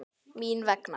Mín vegna.